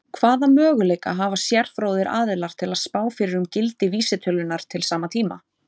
Hvaða möguleika hafa sérfróðir aðilar til að spá fyrir um gildi vísitölunnar til sama tíma?